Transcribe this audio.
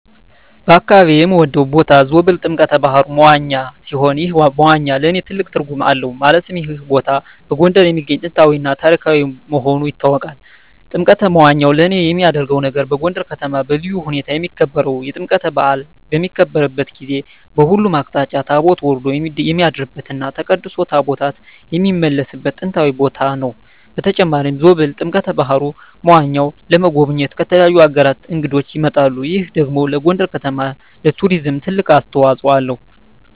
በአካባቢየ የምወደው ቦታ ዞብል ጥምቀተ ባህሩ (መዋኛ) ሲሆን ይህ መዋኛ ለእኔ ትልቅ ትርጉም አለው ማለትም ይህ ቦታ በጎንደር የሚገኝ ጥንታዊ እና ታሪካዊ መሆኑ ይታወቃል። ጥምቀተ መዋኛው ለየት የሚያረገው ነገር በጎንደር ከተማ በልዩ ሁኔታ የሚከበረው የጥምቀት በአል በሚከበርበት ጊዜ በሁሉም አቅጣጫ ታቦት ወርዶ የሚያድርበት እና ተቀድሶ ታቦታት የሚመለስበት ጥንታዊ ቦታ ነው። በተጨማሪም ዞብል ጥምቀተ በሀሩ (መዋኛው) ለመጎብኘት ከተለያዩ አገራት እንግዶች ይመጣሉ ይህ ደግሞ ለጎንደር ከተማ ለቱሪዝም ትልቅ አስተዋጽኦ አለው።